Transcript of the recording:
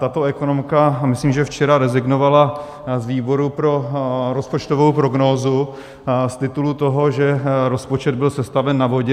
Tato ekonomka, myslím, že včera rezignovala z výboru pro rozpočtovou prognózu z titulu toho, že rozpočet byl sestaven na vodě.